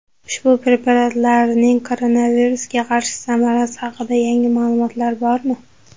Ushbu preparatlarning koronavirusga qarshi samarasi haqida yangi ma’lumotlar bormi?